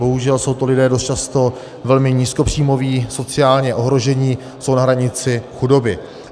Bohužel jsou to lidé dost často velmi nízkopříjmoví, sociálně ohrožení, jsou na hranici chudoby.